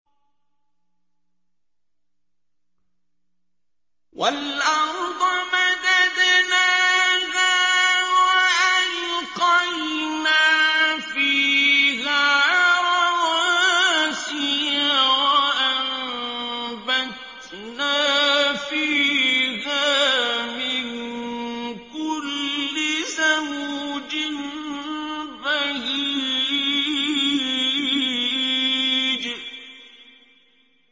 وَالْأَرْضَ مَدَدْنَاهَا وَأَلْقَيْنَا فِيهَا رَوَاسِيَ وَأَنبَتْنَا فِيهَا مِن كُلِّ زَوْجٍ بَهِيجٍ